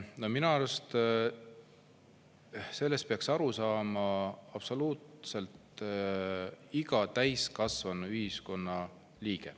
No minu arust sellest peaks aru saama absoluutselt iga täiskasvanud ühiskonna liige.